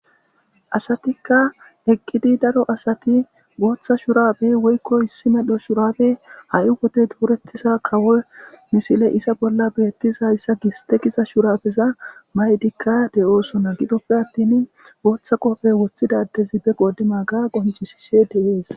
asatikka eqqidi daro asati gooththa shurabey woykkoy issi medho shurabe ha7i wode doorettiza kawo misile iza bolla beettiza yssa gistekisa shurafeza maydikka de7oosonna gidoppe attin gooththa qofe woththidadezi be qoodi maga qoncisishe deees